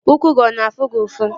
Ụkwụ gị ọ na-afụ gị ụfụ?